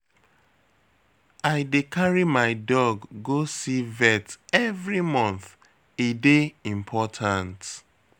I dey carry my dog go see vet every month, e dey important.